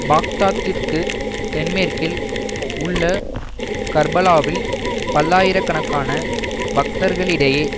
பாக்தாத்திற்கு தென்மேற்கில் உள்ள கர்பலாவில் பல்லாயிர கணக்கான பக்தர்களிடேயே